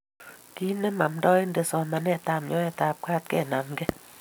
Kinem amndaendit somanet ab nyoet ab ke ag kenamke